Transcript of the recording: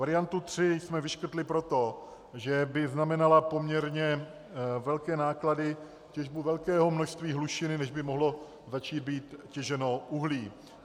Variantu 3 jsme vyškrtli proto, že by znamenala poměrně velké náklady, těžbu velkého množství hlušiny, než by mohlo začít být těženo uhlí.